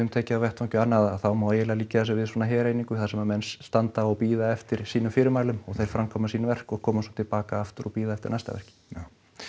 tekið þá má eiginlega líkja þessu við svona þar sem menn standa og bíða eftir sínum fyrirmælum og þeir framkvæma sín verk og koma svo til baka aftur og bíða eftir næsta verki já